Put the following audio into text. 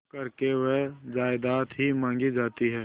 करके वह जायदाद ही मॉँगी जाती है